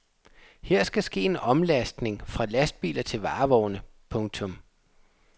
Her skal ske en omlastning fra lastbiler til varevogne. punktum